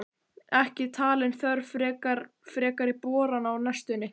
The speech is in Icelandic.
Ekki talin þörf frekari borana á næstunni.